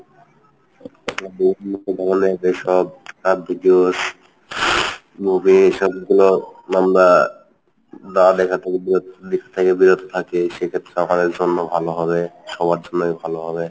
videos movies এসব গুলো আমরা না দেখা থেকে বিরত থাকি সেক্ষেত্রে আমাদের জন্য ভালো হবে সবার জন্যই ভালো হবে।